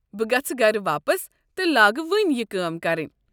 بہٕ گژھہٕ گرٕ واپس تہٕ لاگہٕ وٕنۍ یہِ کٲم کرٕنۍ۔